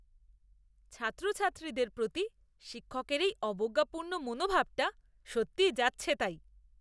ছাত্রছাত্রীদের প্রতি শিক্ষকের এই অবজ্ঞাপূর্ণ মনোভাবটা সত্যি যাচ্ছেতাই!